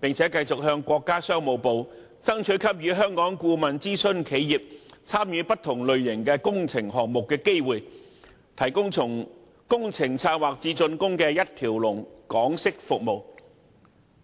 並繼續向國家商務部爭取給予香港顧問諮詢企業參與不同類型工程項目的機會，提供從工程策劃至竣工的一條龍港式服務。